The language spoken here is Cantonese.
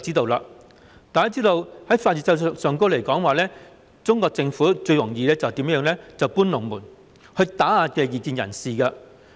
大家都知道，在法律制度上，中國政府最常以"搬龍門"來打壓異見人士。